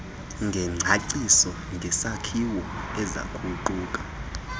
ngengcaciso ngesakhiwo ezakuquka